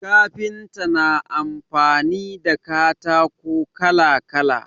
Kafinta na amfani da katako kala kala